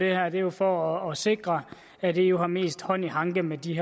er jo for at sikre at eu har mest hånd i hanke med de